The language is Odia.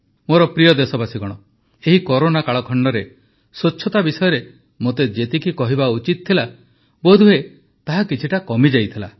ମୋର ପ୍ରିୟ ଦେଶବାସୀଗଣ ଏହି କରୋନା କାଳଖଣ୍ଡରେ ସ୍ୱଚ୍ଛତା ବିଷୟରେ ମୋତେ ଯେତିକି କହିବା ଉଚିତ ଥିଲା ବୋଧହୁଏ ତାହା କିଛିଟା କମିଯାଇଥିଲା